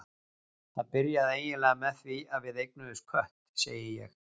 Það byrjaði eiginlega með því að við eignuðumst kött, segi ég.